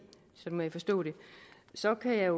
sådan må jeg forstå det så kan jeg